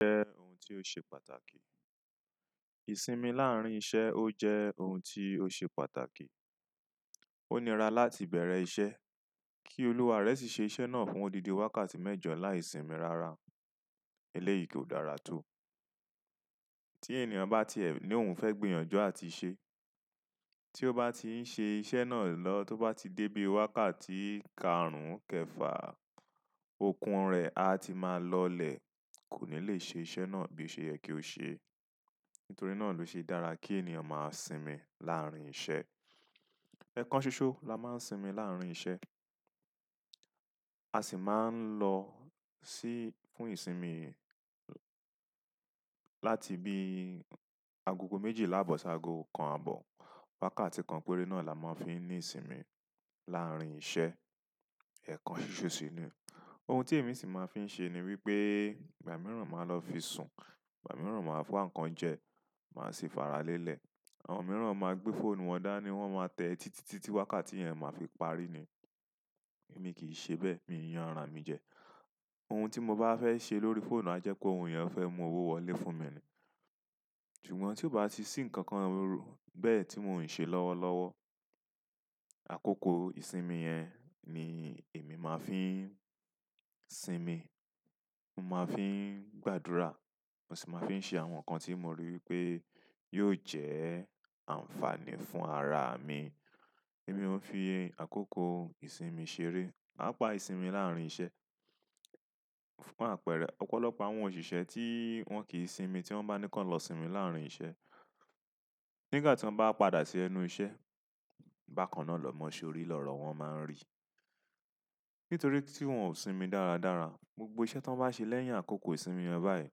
Jẹ́ oun tí ó ṣe pàtàkì. Ìsinmi láàrin iṣẹ́ ó jẹ́ oun tí ó ṣe pàtàkì. O nira láti beere iṣẹ́ ki oluwa re si se iṣẹ́ na fún odidin wákàtí mẹ́jọ layi simi rara. Elẹ́yìí kò dára tó. Tí ènìyàn bá ti ẹ̀ ní oun fẹ́ gbìyànjú àti ṣe, tí ó bá ti ń ṣe iṣẹ́ náà lọ, tó bá ti dé bí wákàtí karùn-ún kẹfà, ọkun rẹ̀ á ti máa lọlẹ̀, kò ní lè ṣe iṣẹ̀ náà bí ṣe yẹ kí ó ṣe. Nítorí náà ló ṣe dára kí ènìyàn máa sinmi láàrin iṣẹ́. Ẹ̀kan ṣoṣo la máa ń sìmi láàrin iṣẹ́. A sì máa ń lọ sí fún ìsinmi láti bí agogo méjìlá bọ̀ ṣágo kan àbọ̀. Wákàtí kan péré náà la máa ń fi ní ìsinmi láàrin iṣẹ́ ẹ̀kan ṣoṣo síni. Ohun tí èmi sì máa ń fi ń ṣe ni wípé ìgbà mìíràn máa lọ fi sùn, ìgbà mìíràn máa wan kán jẹ, màá ṣi ìfara lélẹ̀. Àwọn mìíràn máa gbé fóònù wọn dá ní wọ́n máa tẹ títí tí wákàtí yẹn máa fi parí ni. Mi kì í ṣe bẹ́ẹ̀, mi yànra mi jẹ. Ohun tí mo bá fẹ́ ṣe lórí fóònù a jẹ́ pé oun yẹn ó fẹ́ mú owó wọlé fún mi ni. Ṣùgbọ́n tí ó bá ti sì nǹkan kan bẹ́ẹ̀ tí mò ń sẹ lọ́wọ́ lọ́wọ́, àkókò ìsinmi yẹn ni èmi máa ń fi sinmi. Mo máa ń fi gbàdúrà, mo sì máa ń fi ṣe àwọn nǹkan tí mo rí wípé yóò jẹ́ àǹfààní fún ara mi. Èmi ò ń fi àkókò ìsinmi ṣeré. Paapa isimi laarin iṣẹ́. Fún àpẹẹrẹ, ọ̀pọ̀lọpọ̀ àwọn òṣìṣẹ́ tí wọ́n kì í sinmi tí wọ́n bá ni kí wọ́n lọ sinmi láàrin iṣẹ́, nígbà tí wọ́n bá padà sí ẹnu iṣẹ́, bákan náà lọ́mọ sórí lọ́rọ̀ wọ́n máa ń rì. Nítorí tí wọ́n ò sinmi dáradára, gbogbo iṣẹ́ tí wọ́n bá ṣe lẹ́yìn àkókò ìsinmi yẹn báyìí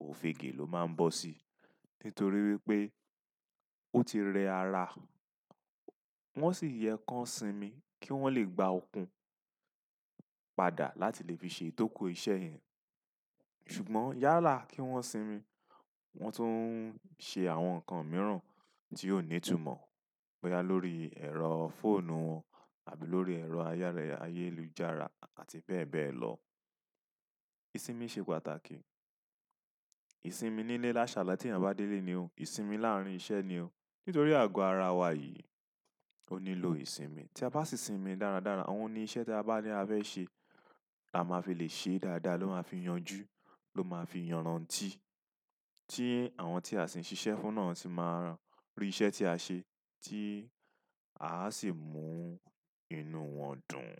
ò f'ègè ló máa ń bọ̀ sí. Nítorí wípé ó ti rẹ ara, wọ́n sì yẹ kán sinmi kí wọ́n lè gba okun padà láti lè fi ṣe ìtókó iṣẹ́. Ṣùgbọ́n yálà kí wọ́n sinmi, wọ́n tún ń sẹ àwọn nǹkan mìíràn tí ó ní ìtumọ̀ bóyá lórí ẹ̀rọ fóònù àbí lórí ẹ̀rọ ayárẹ̀ ayélujára àti bẹ́ẹ̀ bẹ́ẹ̀ lọ. Ìsinmi sẹ́ pàtàkì. Ìsinmi nílé láṣàlá ti eyàn bá délé ni o, ìsinmi láàrin iṣẹ́ ni o. Nítorí àgọ ara wa yìí ò nílò ìsinmi. Tí a bá sì sinmi dáradára, àwọn ni iṣẹ́ tí a bá ní a fẹ́ ṣe, a máa fi lè ṣe é dáadáa, ló máa fi yanjú, ló máa fi yànran tì tí àwọn tí a sì ń ṣiṣẹ́ fún náà sì máa iṣẹ́ ti ase ti a si mu inú won dùn.